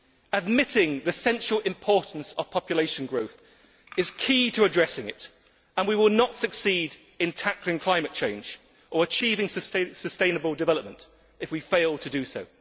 Admitting the central importance of population growth is key to addressing it, and we will not succeed in tackling climate change or achieving sustainable development if we fail to do so.